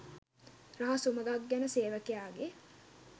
රහස් උමඟක් ගැන සේවකයාගේ